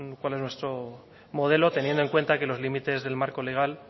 cuál es nuestro modelo teniendo en cuenta que los límites del marco legal